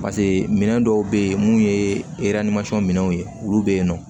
pase minɛn dɔw be yen mun ye minɛnw ye olu be yen nɔ